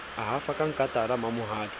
a hafa ka nkatana mamohale